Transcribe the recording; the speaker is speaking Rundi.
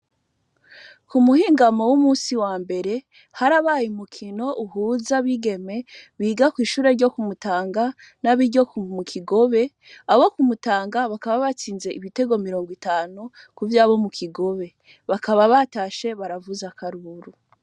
Ku muhingamo w'umusi wa mbere harabaye umukino uhuza abigeme biga kw'ishure ryo ku Mutanga nab'iryo mu Kigobe, abo ku Mutanga bakaba batsinze ibitego mirongo itanu ku vy'abo mu Kigobe, bakaba batashe baravuza akaruru.